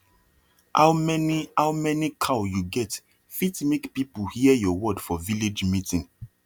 how many how many cow you get fit make people hear your word for village meeting